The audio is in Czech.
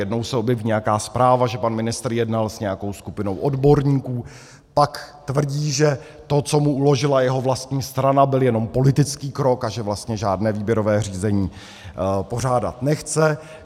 Jednou se objeví nějaká zpráva, že pan ministr jednal s nějakou skupinou odborníků, pak tvrdí, že to, co mu uložila jeho vlastní strana, byl jen politický krok a že vlastně žádné výběrové řízení pořádat nechce.